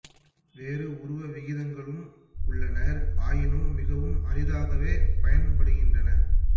வேறு உருவ விகிதங்களும் உள்ளன ஆயினும் மிகவும் அரிதாகவே பயன்படுகின்றன